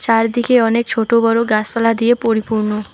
চারদিকে অনেক ছোট বড়ো গাছপালা দিয়ে পরিপূর্ণ।